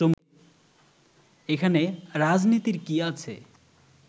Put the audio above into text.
এখানে রাজনীতির কী আছে